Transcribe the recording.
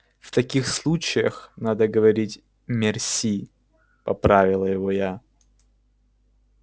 в таких случаях надо говорить мерси поправила его я